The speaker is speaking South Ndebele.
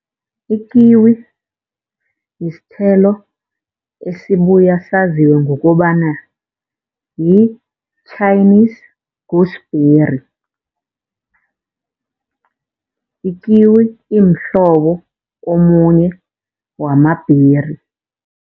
Ikiwi yisithelo esibuya saziwe ngokobana yi-Chinese gooseberry. Ikiwi imhlobo omunye wama-berry.